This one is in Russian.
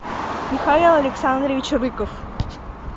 михаил александрович рыков